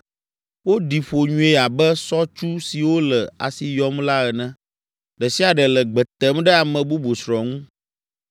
Woɖi ƒo nyuie abe sɔtsu siwo le asi yɔm la ene, ɖe sia ɖe le gbe tem ɖe ame bubu srɔ̃ ŋu.